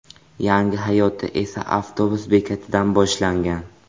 Yangi hayoti esa avtobus bekatidan boshlangan.